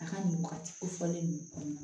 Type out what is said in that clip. A ka nin wagati kofɔlen ninnu kɔnɔna na